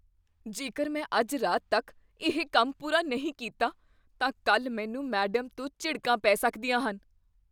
ਜੇਕਰ ਮੈਂ ਅੱਜ ਰਾਤ ਤੱਕ ਇਹ ਕੰਮ ਪੂਰਾ ਨਹੀਂ ਕੀਤਾ, ਤਾਂ ਕੱਲ੍ਹ ਮੈਨੂੰ ਮੈਡਮ ਤੋਂ ਝਿੜਕਾਂ ਪੈ ਸਕਦੀਆਂ ਹਨ